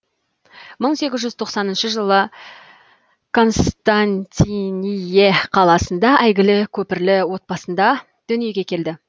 мың сегіз жүз тоқсаныншы жылы константиние қаласында әйгілі көпірлі отбасында дүниеге келді